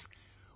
Friends,